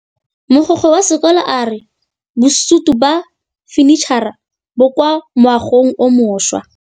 Mogokgo wa sekolo a re bosutô ba fanitšhara bo kwa moagong o mošwa.